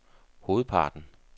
hovedparten